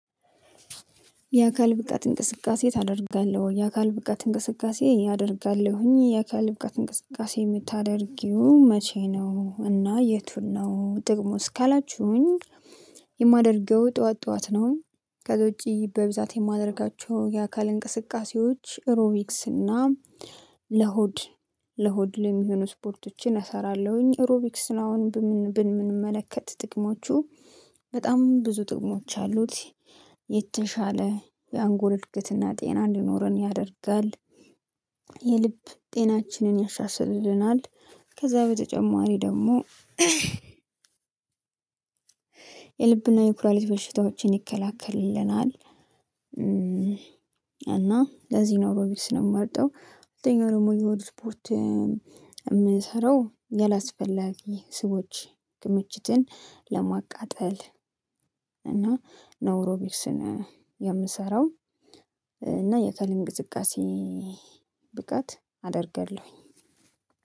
የአካል ብቃት እንቅስቃሴ ታደርጋለህ ወይ? የአካል ብቃት እንቅስቃሴ አደርጋለሁኝ የአካል ብቃት እንቅስቃሴ የምታደርገው መቼ ነው እና የቱን ነው ጥቅሙ እስካላችሁኝ የማደርገው ጠዎት ጠዎት ነው። ከዛ ውጪ በብዛት የማደርጋቸው የአካል እንቅስቃሴዎች ኤሮቢክስ እና ለሆድ ለሆድ የሚሆኑ ስፖርቶችን እሰራለሁኝ። ኤሮቢክስ አሁን ብንመለከት ጥቅሞቹ በጣም ብዙ ጥቅሞች አሉት የተሻለ የአንጎል እድገትና ጤና እንዲኖረን ያደርጋል። የልብ ጤናችንን ያሻሽልልናል። ከዛ በተጨማሪ ደግሞ የልብና የኩላሊት በሽታዎችን ይከለክላልናል። እና ለዚህ ነው ብዬ ነው የምመርጠው። ሁለተኛው ደግሞ የሆድ ስፖርት የምሰራው አላስፈላጊ የስብ ክምችትን ለማቃጠል እና ኤሮቢክስን የምሰራው። እና የአካል እንቅስቃሴን ብቃት አደርጋለሁኝ።